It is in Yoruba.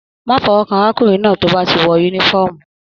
Má fọwọkan arákùnrin náà tó bá ti wọ yúnífọ̀ọ́mù!